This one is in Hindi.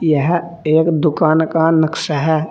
यह एक दुकान का नक्शा है।